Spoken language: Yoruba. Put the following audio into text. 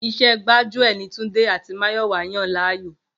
Iṣẹ́ gbájúẹ̀ ni Túndé àti Máyọ̀wá yàn láyò